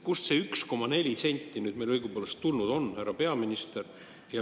Kust see 1,4 senti nüüd õigupoolest tulnud on, härra peaminister?